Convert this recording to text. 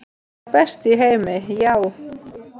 Sá besti í heimi, já.